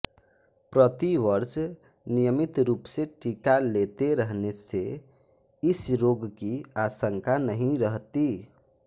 प्रति वर्ष नियमित रूप से टीका लेते रहने से इस रोग की आशंका नहीं रहती